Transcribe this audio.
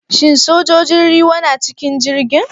Shin sojojin ruwa na a cikin jirgin?